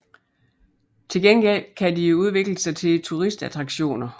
Til gengæld kan de udvikle sig til turistattraktioner